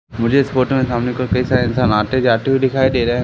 मुझे इस फोटो में सामने को कई सारे इंसान आते जाते हुए दिखाई दे रहे है।